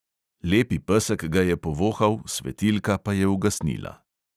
Lepi pesek ga je povohal, svetilka pa je ugasnila.